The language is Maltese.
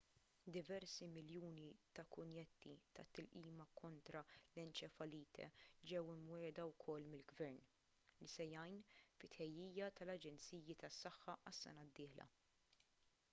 diversi miljuni ta' kunjetti tat-tilqima kontra l-enċefalite ġew imwiegħda wkoll mill-gvern li se jgħin fit-tħejjija tal-aġenziji tas-saħħa għas-sena d-dieħla